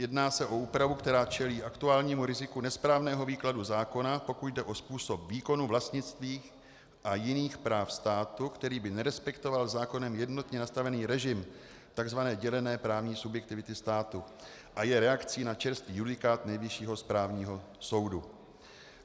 Jedná se o úpravu, která čelí aktuálnímu riziku nesprávného výkladu zákona, pokud jde o způsob výkonu vlastnických a jiných práv státu, který by nerespektoval zákonem jednotně nastavený režim tzv. dělené právní subjektivity státu, a je reakcí na čerstvý judikát Nejvyššího správního soudu.